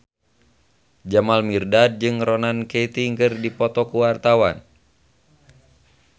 Jamal Mirdad jeung Ronan Keating keur dipoto ku wartawan